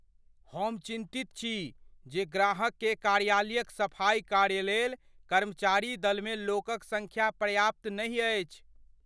हम चिन्तित छी जे ग्राहक केर कार्यालयक सफाइ कार्य लेल कर्मचारी दलमे लोकक सँख्या पर्याप्त नहि अछि।